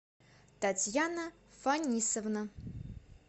татьяна фанисовна